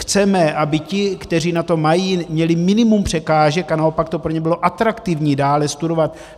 Chceme, aby ti, kteří na to mají, měli minimum překážek a naopak to pro ně bylo atraktivní dále studovat.